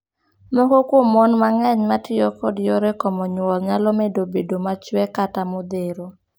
Moko kuom mon mang'eny ma tiyo kod yore komo nyuol nyalo medo bedo machwe kata modhero.